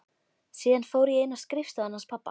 Síðan fór ég inn í skrifstofuna hans pabba.